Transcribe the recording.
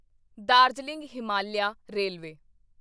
Darjeeling Himalayan railway